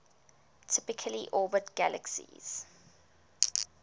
typically orbit galaxies